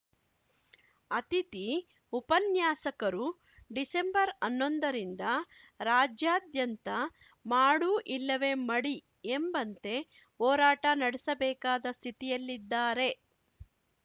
ಅತಿಥಿ ಉಪನ್ಯಾಸಕರು ಡಿಸೆಂಬರ್ಹನ್ನೊಂದರಿಂದ ರಾಜ್ಯಾದ್ಯಂತ ಮಾಡು ಇಲ್ಲವೇ ಮಡಿ ಎಂಬಂತೆ ಹೋರಾಟ ನಡೆಸಬೇಕಾದ ಸ್ಥಿತಿಯಲ್ಲಿದ್ದಾರೆ